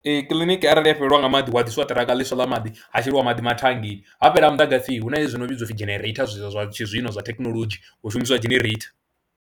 Ee, kiḽiniki arali ya fhelelwa nga maḓi hu a ḓisiwa ṱiraka ḽiswa ḽa maḓi ha sheliwa maḓi mathangeni, ha fhela muḓagasi hu na hezwi zwo no vhidzwa u pfhi genereitha zwa zwa tshizwino zwa thekhinolodzhi hu shumisiwa dzhenereitha.